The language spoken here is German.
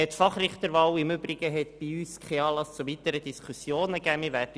Die Fachrichterwahl hat bei uns keinen Anlass zu weiteren Diskussionen gegeben.